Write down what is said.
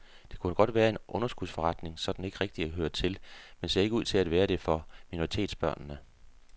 Det kunne godt være en underskudsforretning sådan ikke rigtigt at høre til, men ser ikke ud til at være det for minoritetsbørnene.